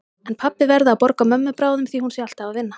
En pabbi verði að borga mömmu bráðum því hún sé alltaf að vinna.